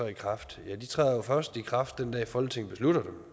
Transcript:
i kraft ja de træder jo først i kraft den dag folketinget beslutter